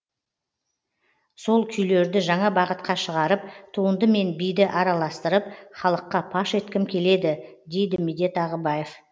сол күйлерді жаңа бағытқа шығарып туынды мен биді араластырып халыққа паш еткім келеді дейді медет ағыбаев